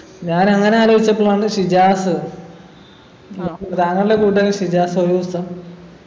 ഞാനങ്ങനെ ആലോചിച്ചപ്പോഴാണ് ഷിജാസ് താങ്കളുടെ കൂട്ടുകാരൻ ഷിജാസ് ഒരു ദിവസം